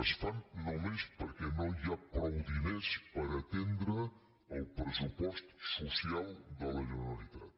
es fan només perquè no hi ha prou diners per aten·dre el pressupost social de la generalitat